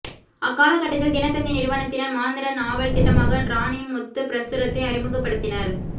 அக்காலகட்டத்தில் தினத்தந்தி நிறுவனத்தினர் மாதாந்த நாவல் திட்டமாக ராணிமுத்துப் பிரசுரத்தை அறிமிகப்படுத்தினர்